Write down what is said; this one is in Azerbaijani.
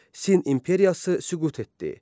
Sin imperiyası süqut etdi.